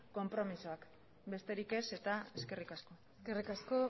konpromezuak besterik ez eta eskerrik asko eskerrik asko